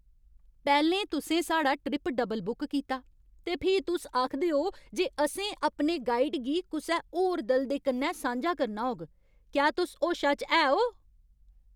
पैह्लें, तुसें साढ़ा ट्रिप डबल बुक कीता ते फ्ही तुस आखदे ओ जे असें अपने गाइड गी कुसै होर दल दे कन्नै सांझा करना होग। क्या तुस होशा च है ओ?